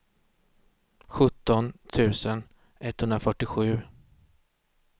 sjutton tusen etthundrafyrtiosju